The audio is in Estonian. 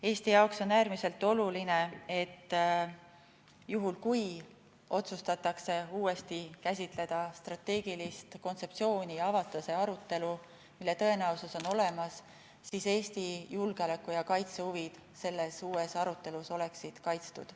Eesti jaoks on äärmiselt oluline, et juhul kui otsustatakse uuesti käsitleda strateegilist kontseptsiooni ja avada see arutelu – tõenäosus selleks on olemas –, oleksid Eesti julgeoleku- ja kaitsehuvid selles uues arutelus kaitstud.